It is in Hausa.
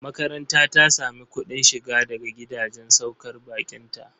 Makaranta ta sami kuɗin shiga daga gidajen saukar baƙinta.